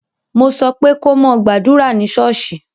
Mo sọ pé ko mo gbàdúrà ní ṣọ́ọ́ṣì!